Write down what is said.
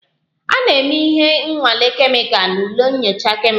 A na-eme ihe nnwale kemikal n'ụlọ nyocha kemịkal